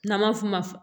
N'an ma f'o ma